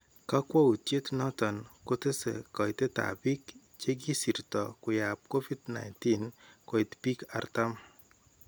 Kwakwautyeet noton kotesee kaitetab biik chekisirtoo koyaab Covid-19 koit biik 40